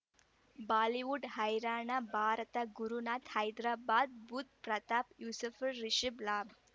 Bollywood ಹೈರಾಣ ಭಾರತ ಗುರುನಾಥ ಹೈದರಾಬಾದ್ ಬುಧ್ ಪ್ರತಾಪ್ ಯೂಸುಫ್ಳ್ ರಿಷಬ್ ಲಾಭ್